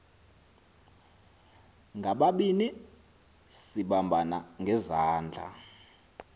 ngababini sibambana ngezandla